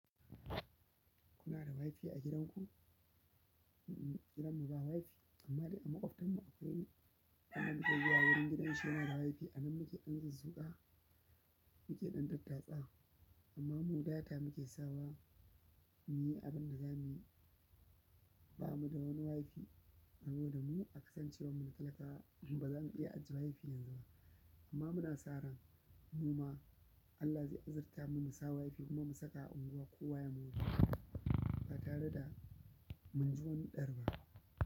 Kuna da Wi-Fi a gidanku? Gidanmu ba Wi-Fi amma dai a maƙwabtanmu akwai wani, idan muka yi wayarin gidansu yana da Wi-Fi. Anan muke ƙanzu zuƙa muke ɗan tattaɓa tsawa amma mu data muke sawa. Ni abin da za mu yi, ba mu da wani Wi-Fi saboda mu akasancewarmu talakawa ba za mu iya ajiye Wi-Fi yanzu ba. Amma muna sa ran mu ma Allah zai azurta mu, mu sa Wi-Fi kuma mu saka a unguwa kowa ya mora ba tare da mun ji wani ɗar ba.